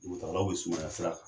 Dugutaagalaw bɛ sumaya sira kan.